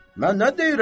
Mən nə deyirəm ki?